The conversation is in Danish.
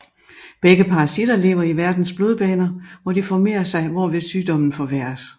Begge parasitter lever i værtens blodbaner hvor de formerer sig hvorved sygdommen forværres